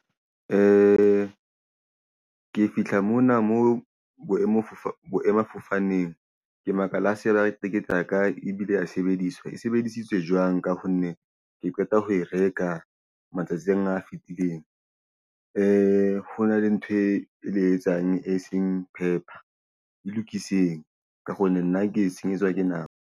Ke fihla mona moo boemafofaneng ke makala ha se ba re tekete ya ka ebile a sebediswa e sebedisitswe jwang la ho nne ke qeta ho e reka matsatsing a fitileng. Hona le ntho etsang e seng pepper e lokiseng. Ka hona nna ke senyetswa ke nako.